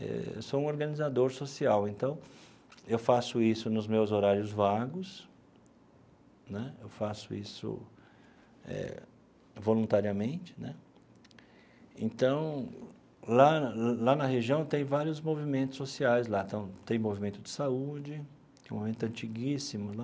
Eh eu sou um organizador social, então, eu faço isso nos meus horários vagos né, eu faço isso eh voluntariamente né, então, lá lá na região tem vários movimentos sociais lá então, tem movimento de saúde, que é um movimento antiguíssimo lá,